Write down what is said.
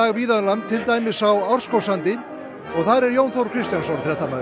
víða um land til dæmis á Árskógssandi þar er Jón Þór Kristjánsson